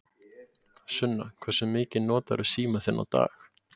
Sunna: Hversu mikið notarðu símann þinn á dag?